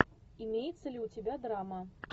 имеется ли у тебя драма